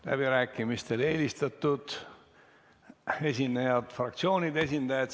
Läbirääkimistel on eelistatud fraktsioonide esindajad.